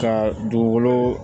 Ka dugukolo